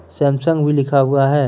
Samsung भी लिखा हुआ है।